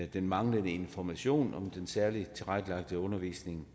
den manglende information om den særligt tilrettelagte undervisning